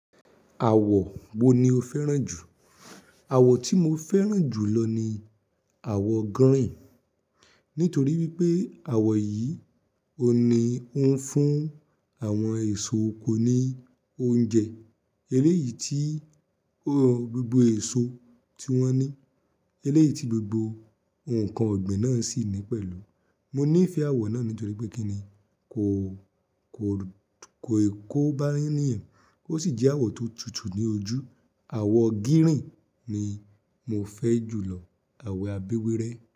Àwọ̀ wo ni o fẹ́ràn jù? Àwọ̀ tí mo fẹ́ràn jù lọ ni àwọ̀ gírìn. Nítorí wípé àwọ̀ yìí òní ó ń fún àwọn èso oko ní oúnjẹ, eléyìí tí gbogbo èso tí wọ́n ní, eléyìí tí gbogbo ǹkan ọ̀gbìn náà sì ní pẹ̀lú. Mo nífẹ̀ẹ́ àwọ̀ náà nítorí pé kí ni kò, kò, kò, kò bá níyan kò sì jẹ́ àwọ̀ tó tutù ní ojú. Àwọ̀ gírìn ni mo fẹ́ jùlọ Àwẹ̀ abewerẹ.